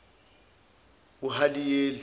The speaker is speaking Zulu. uhaliyeli